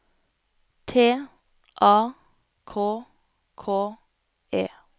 T A K K E